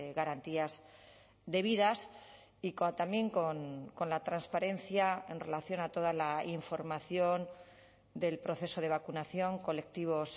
garantías debidas y también con la transparencia en relación a toda la información del proceso de vacunación colectivos